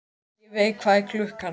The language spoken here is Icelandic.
Ingiveig, hvað er klukkan?